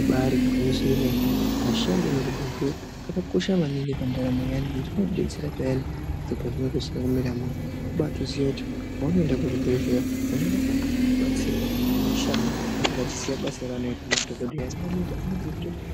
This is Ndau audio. Ibari gwinyiso yemene ashandi emuzvibhedhleya akakosha maningi pandaramo yaanhu ngekuti anodetsera payani zviro pazvinenge zvisina kumira mushe kubaatoziya kuti paunoenda kuzvibhedhleya unoenda kobatsirwa neashandi anenga achiziya basa ranoita madhokodheya anokono